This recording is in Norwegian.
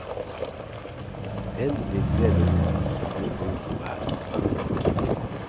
Endelig litt fred og ro, så kan vi få gjort noe her.